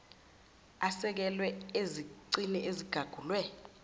asekelwe ezicini ezigagulwe